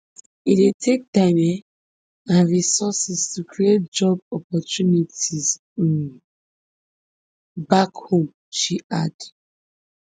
e dey take time um and resources to create job opportunities um back home she add